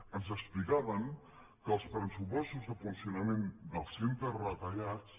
ens explicaven que els pressupostos de funcionament dels centres retallats